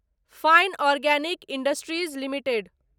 fine organic industries limited